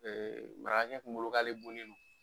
marakɛ kun bolo k'ale bonnen don